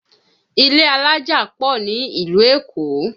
Ilé alájà pọ̀ ní ìlú Èkó